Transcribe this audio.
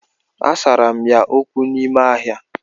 Asara m ya okwu n'ime ahịa